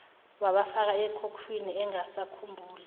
wabafaka ekhukhwini engasakhumbuli